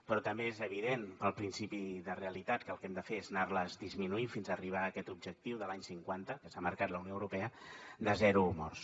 però també és evident pel principi de realitat que el que hem de fer és anar les disminuint fins arribar a aquest objectiu de l’any cinquanta que s’ha marcat la unió europea de zero morts